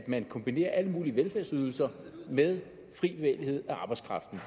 man kombinerer alle mulige velfærdsydelser med arbejdskraftens